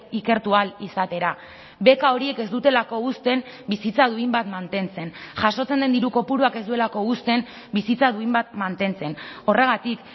ikertu ahal izatera beka horiek ez dutelako uzten bizitza duin bat mantentzen jasotzen den diru kopuruak ez duelako uzten bizitza duin bat mantentzen horregatik